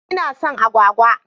Ina son agwagwa.